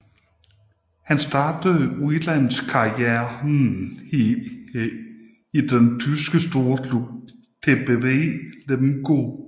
Han startede udenlands karrieren i den tyske storklub TBV Lemgo